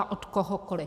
A od kohokoli!